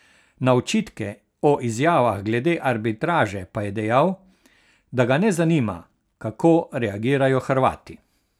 Na očitke o izjavah glede arbitraže pa je dejal, da ga ne zanima, kako reagirajo Hrvati.